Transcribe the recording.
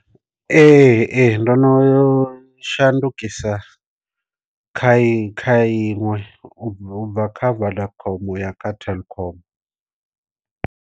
Ee ee ndono yo shandukisa kha kha inwe u bva kha vodacom uya kha telkom.